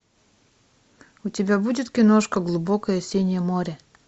у тебя будет киношка глубокое синее море